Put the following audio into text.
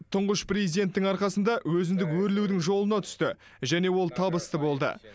тұңғыш президенттің арқасында өзіндік өрлеудің жолына түсті және ол табысты болды